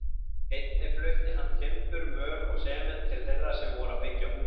Einnig flutti hann timbur, möl og sement til þeirra sem voru að byggja hús.